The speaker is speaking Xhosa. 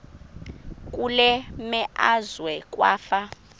kule meazwe kwafa